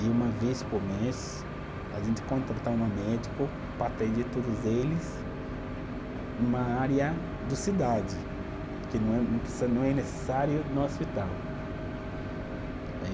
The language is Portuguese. E uma vez por mês, a gente contrata uma médico para atender todos eles numa área do cidade, que não é, não preci, não é necessário no hospital. Aí